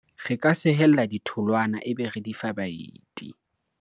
re ka sehella ditholwana ebe re di fa baeti